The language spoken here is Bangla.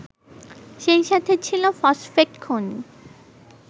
সেই সাথে ছিল ফসফেট খনি